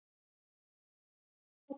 Hvar var hún mótuð?